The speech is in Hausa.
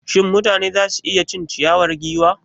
Shin mutane za su iya cin ciyawar giwa?